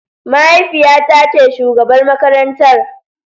Mahaifiyata ce shugabar makarantar.